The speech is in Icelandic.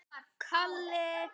Hún ætlaði að sýna annað.